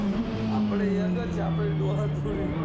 આપડે young જ છે આપડે દોહા દોહી